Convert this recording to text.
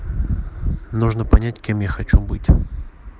нужно понять кем я хочу быть